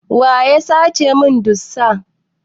Waya sace mun dosta?